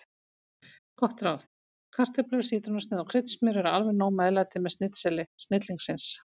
Gott ráð: Kartöflur, sítrónusneið og kryddsmjör eru alveg nóg meðlæti með snitseli snillingsins.